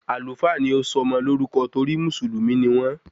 Àlúfà ni ó sọ ọmọ lórúkọ torí Mùsùlùmí ni wón